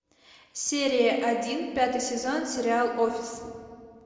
серия один пятый сезон сериал офис